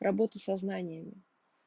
работу со знаниями